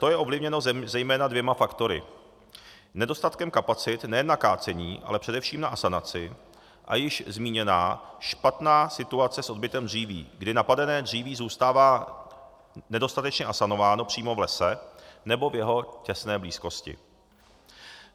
To je ovlivněno zejména dvěma faktory: nedostatkem kapacit nejen na kácení, ale především na asanaci, a již zmíněná špatná situace s odbytem dříví, kdy napadené dříví zůstává nedostatečně asanováno přímo v lese nebo v jeho těsné blízkosti.